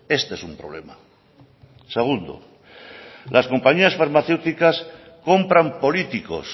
este es un problema segundo las compañías farmacéuticas compran políticos